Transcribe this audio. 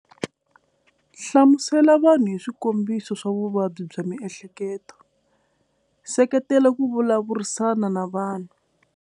Hlamusela vanhu hi swikombiso swa vuvabyi bya miehleketo seketela ku vulavurisana na vanhu.